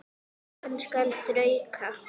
Hann skal þrauka.